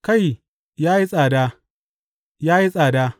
Kai, ya yi tsada, ya yi tsada!